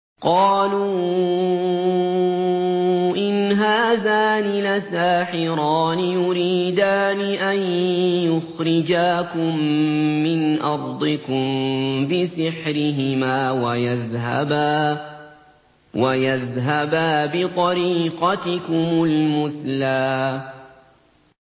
قَالُوا إِنْ هَٰذَانِ لَسَاحِرَانِ يُرِيدَانِ أَن يُخْرِجَاكُم مِّنْ أَرْضِكُم بِسِحْرِهِمَا وَيَذْهَبَا بِطَرِيقَتِكُمُ الْمُثْلَىٰ